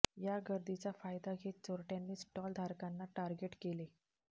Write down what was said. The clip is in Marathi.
या गर्दीचा फायदा घेत चोरटयांनी स्टॉल धारकांना टार्गेट केले